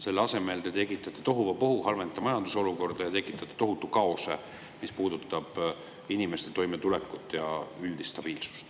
Selle asemel tekitate tohuvabohu, halvendate majandusolukorda ja tekitate tohutu kaose, mis puudutab inimeste toimetulekut ja üldist stabiilsust.